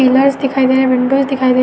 Pillars दिखाई दे रहे हैं। विंडोज दिखाई दे --